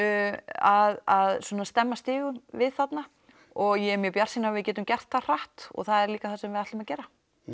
að svona stemma stigum við þarna og ég er mjög bjartsýn að við getum gert það hratt og það er líka það sem við ætlum að gera